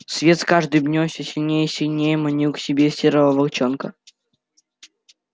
свет с каждым днём все сильнее и сильнее манил к себе серого волчонка